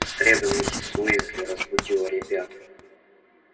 в среду миссис уизли разбудила ребят